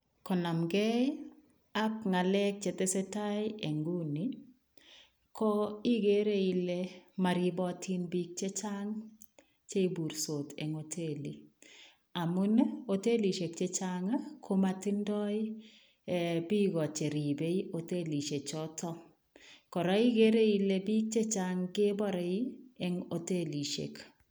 Konamkei ak ngalek che tesetai en nguni ko igere Ile maribatiin biik chechaang cheiburtos en hotelii amuun ii hoteisiek chechaang komatindaieeh biiko cheribei hotelit notoon kora igere Ile biik chechaang kebare eng hotelisiek.